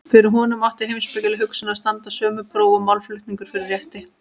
Fyrir honum átti heimspekileg hugsun að standast sömu próf og málflutningur fyrir rétti.